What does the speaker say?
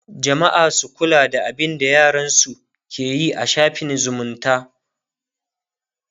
jamma'a su kula da abinda yaransu keyi a shaffin zumunta